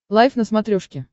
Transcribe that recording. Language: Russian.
лайф на смотрешке